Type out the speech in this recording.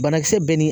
Banakisɛ bɛ ni